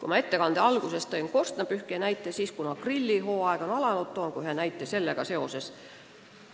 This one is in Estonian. Oma ettekande alguses tõin ma korstnapühkija antud tõendi näite, aga kuna grillihooaeg on alanud, toon ka ühe näite sellega seoses.